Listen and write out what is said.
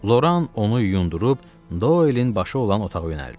Loran onu yundırıb, Doelin başı olan otağa yönəldi.